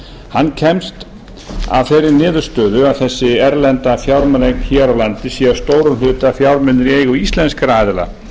hann kemst að þeirri niðurstöðu að þessi erlenda fjármunaeign hér á landi sé að stórum hluta fjármunir í eigu íslenskra aðila